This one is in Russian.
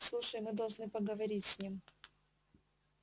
слушай мы должны поговорить с ним